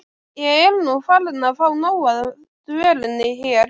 Ég er nú farin að fá nóg af dvölinni hér.